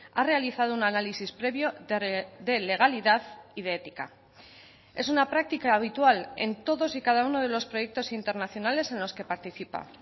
ha realizado un análisis previo de legalidad y de ética es una práctica habitual en todos y cada uno de los proyectos internacionales en los que participa